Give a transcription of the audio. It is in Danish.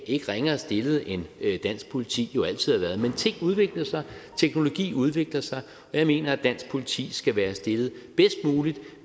ikke ringere stillet end dansk politi jo altid har været men ting udvikler sig teknologi udvikler sig og jeg mener at dansk politi skal være stillet bedst muligt